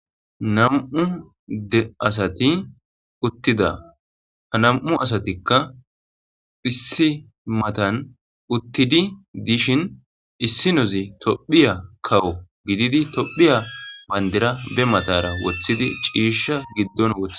Nam'u adde asati uttida ha nam'u asatikka issi matan uttidi dishin issinozi tophphiya kawo gididi tophphiya baandira be matara woththidi ciishsha giddon wothth..